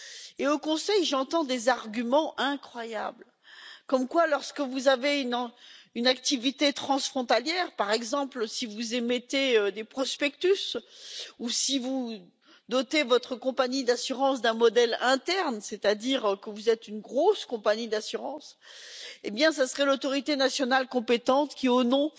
Et au Conseil, j'entends des arguments incroyables, selon lesquels lorsque vous avez une activité transfrontalière par exemple si vous émettez des prospectus ou si vous dotez votre compagnie d'assurance d'un modèle interne, c'est à dire que vous êtes une grosse compagnie d'assurance ce serait l'autorité nationale compétente qui, au nom